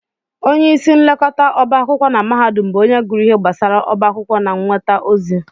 Onyeisi nlekọta ọbá akwụkwọ na mahadum bụ onye gụrụ ihe gbasara ọbá akwụkwọ na nnweta ozi